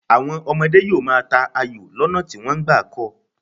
Àwọn ọmọdé yóò máa ta ayò lọ́nà tí wọ́n gbà kọ́ ọ.